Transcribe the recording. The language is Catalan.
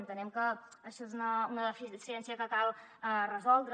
entenem que això és una deficiència que cal resoldre